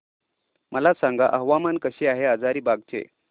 मला सांगा हवामान कसे आहे हजारीबाग चे